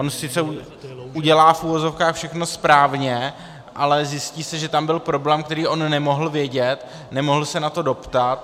On sice udělá - v uvozovkách - všechno správně, ale zjistí se, že tam byl problém, který on nemohl vědět, nemohl se na to doptat.